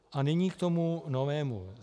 A nyní k tomu novému.